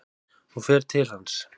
Hún fer til hans.